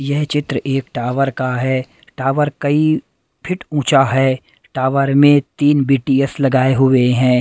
यह चित्र एक टावर का है टावर कई फीट ऊंचा है टावर में तीन बी_टी_एस लगाए हुए हैं।